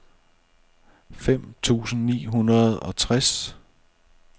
fem tusind ni hundrede og tres